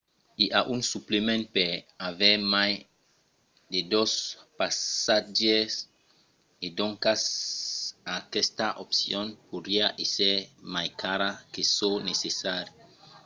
i a un suplement per aver mai de 2 passatgièrs e doncas aquesta opcion podriá èsser mai cara que çò necessari